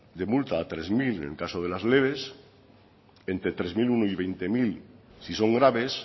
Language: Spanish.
de multa a tres mil en el caso de las leves entre tres mil uno y veinte mil si son graves